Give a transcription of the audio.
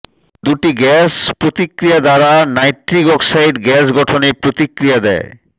দুটি গাস প্রতিক্রিয়া দ্বারা নাইট্রিক অক্সাইড গ্যাস গঠনে প্রতিক্রিয়া দেয়